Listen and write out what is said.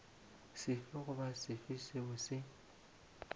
sefe goba sefe seo se